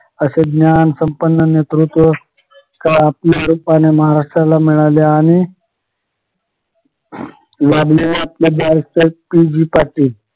असे ज्ञान संपन्न नेतृत्व काळ आपल्या रूपाने महाराष्ट्राला मिळाले आणि लाभलेल्या आपल्या बॅरिस्टर पी जी पाटील